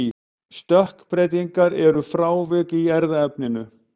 stökkbreytingar eru frávik í erfðaefninu